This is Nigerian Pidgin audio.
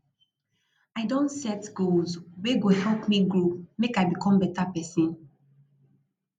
i don set goals wey go help me grow make i become beta pesin